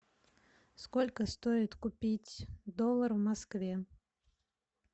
сколько стоит купить доллар в москве